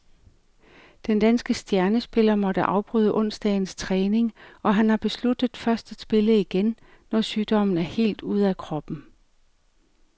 Den danske stjernespiller måtte afbryde onsdagens træning, og han har besluttet først at spille igen, når sygdommen er helt ude af kroppen.